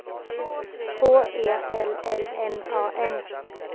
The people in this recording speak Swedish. H E L L M A N